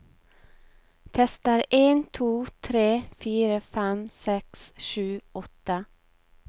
Tester en to tre fire fem seks sju åtte